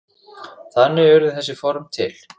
Þannig urðu þessi form til.